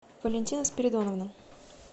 валентина спиридоновна